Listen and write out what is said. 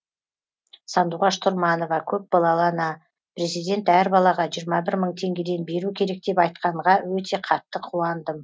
сандуғаш тұрманова көпбалалы ана президент әр балаға жиырма бір мың теңгеден беру керек деп айтқанға өте қатты қуандым